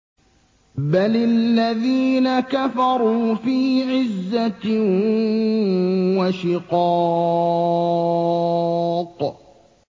بَلِ الَّذِينَ كَفَرُوا فِي عِزَّةٍ وَشِقَاقٍ